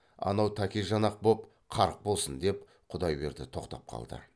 анау тәкежан ақ боп қарқ босын деп құдайберді тоқтап қалды